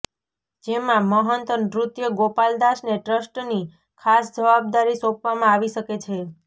જેમાં મહંત નૃત્ય ગોપાલ દાસને ટ્રસ્ટની ખાસ જવાબદારી સોંપવામાં આવી શકે છે